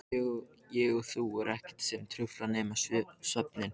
Ég og þú og ekkert sem truflar nema svefninn.